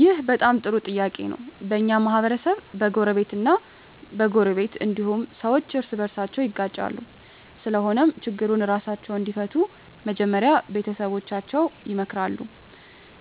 ይህ በጣም ጥሩ ጥያቄ ነው በኛ ማህበረሰብ በጎረቤት እ በጎረቤት እንዲሁም ሠዎች እርስ በርሳቸው ይጋጫሉ ስለሆነም ችግሩን እራሳቸው እንዲፈቱ መጀመሪያ ቤተሠቦቻቸው ይመከራሉ